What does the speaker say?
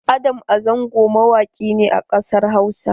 Adam A Zango mawaki ne a ƙasar Hausa.